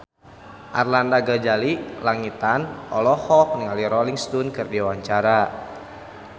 Arlanda Ghazali Langitan olohok ningali Rolling Stone keur diwawancara